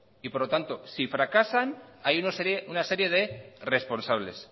por lo tanto si fracasan hay una serie de responsables